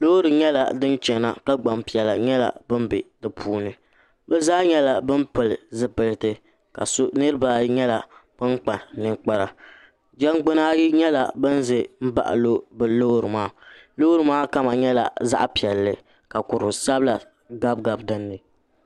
loori nyɛla din chɛna ka gbanpiɛla nyɛla bin bɛ di puuni bi zaa nyɛla bin pili zipiliti ka niraba ayi nyɛla bin kpa ninkpara jɛngbuna ayi nyɛla bin ʒɛ n baɣa bi loori maa loori maa kama nyɛla zaɣ piɛlli ka ko sabila gabigabi dinni